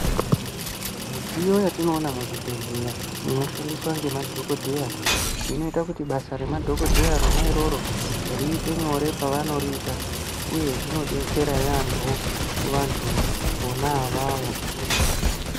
Mudziyo yatinoona muzvibhehlera inoshandiswa ngemadhokotera rinoita kuti basa remadhokotera rona iroro riite nyore pavanoriita uye zvinodetsera yambo kuvandu vona avavo